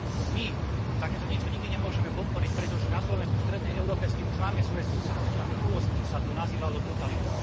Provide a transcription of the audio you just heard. My takéto niečo nikdy nemôžeme podporiť, pretože na Slovensku, v strednej Európe, s tým už máme svoje skúsenosti a v minulosti sa to nazývalo totalita.